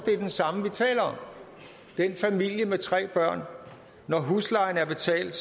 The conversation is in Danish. den familie med tre børn når huslejen er betalt